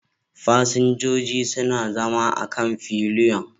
Fasinjoji suna zama a kan fillion